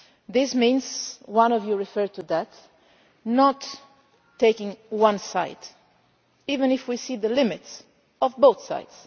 This means, as one of you mentioned, not taking one side, even if we see the limits of both